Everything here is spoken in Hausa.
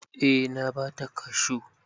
Eh na ba ta kashu.